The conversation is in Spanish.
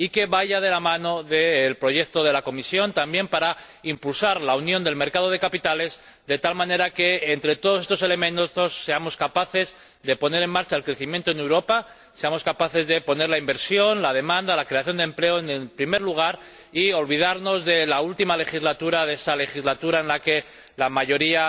Y que vaya de la mano del proyecto de la Comisión también para impulsar la unión del mercado de capitales, de tal manera que entre todos estos elementos seamos capaces de impulsar el crecimiento en Europa, seamos capaces de poner la inversión, la demanda y la creación de empleo en primer lugar, y olvidarnos de la última legislatura, de esa legislatura en la que la mayoría